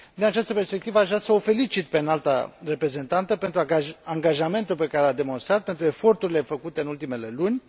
Din această perspectivă aș vrea să o felicit pe Înalta Reprezentantă pentru angajamentul pe care l a demonstrat, pentru eforturile făcute în ultimele luni.